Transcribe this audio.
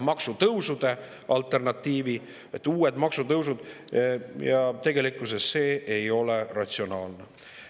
uued maksutõusud ja tegelikkuses see ei ole ratsionaalne.